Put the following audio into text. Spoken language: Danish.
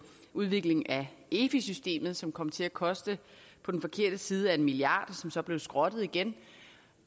udvikling af efi systemet som kom til at koste på den forkerte side af en milliard og som blev skrottet igen